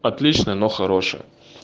но он такой не простой так что я алт сижу